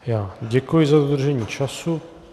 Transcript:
Děkuji za dodržení času.